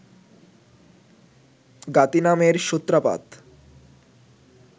জ্ঞাতিনামের সূত্রাপাত